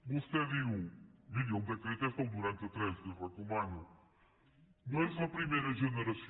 vostè diu miri el decret és del noranta tres l’hi recomano no és la primera generació